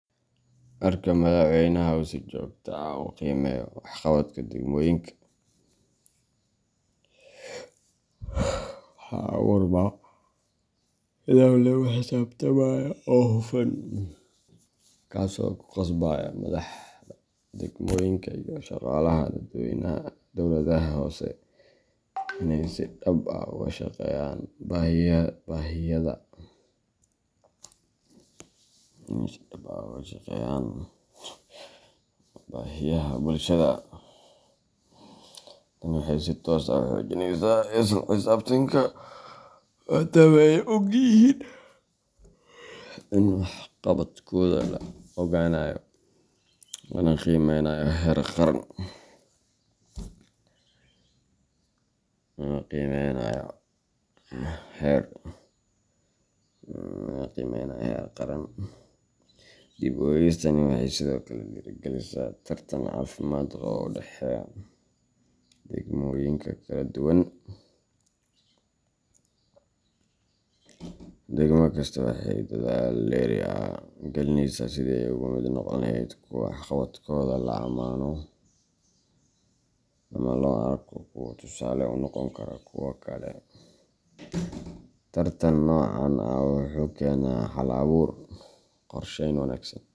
Marka madaxweynaha uu si joogto ah u qiimeeyo waxqabadka degmooyinka, waxaa abuurma nidaam lagu xisaabtamayo oo hufan, kaas oo ku qasbaya madaxda degmooyinka iyo shaqaalaha dowladaha hoose inay si dhab ah uga shaqeeyaan baahiyaha bulshada. Tani waxay si toos ah u xoojinaysaa isla xisaabtanka, maadaama ay og yihiin in waxqabadkooda la ogaanayo lana qiimeynayo heer qaran. Dib u eegistaani waxay sidoo kale dhiirrigelisaa tartan caafimaad qaba oo u dhexeeya degmooyinka kala duwan. Degmo kasta waxay dadaal dheeri ah gelinaysaa sidii ay uga mid noqon lahayd kuwa waxqabadkooda la amaano ama loo arko kuwo tusaale u noqon kara kuwa kale. Tartan noocan ah wuxuu keenaa hal abuur, qorsheyn wanaagsan.